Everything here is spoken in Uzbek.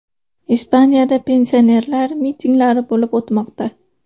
Ispaniyada pensionerlar mitinglari bo‘lib o‘tmoqda.